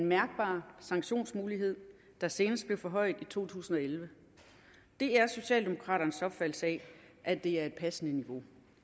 mærkbar sanktionsmulighed der senest blev forhøjet i to tusind og elleve det er socialdemokraternes opfattelse at det er et passende niveau